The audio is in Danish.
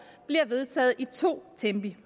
bliver vedtaget i to tempi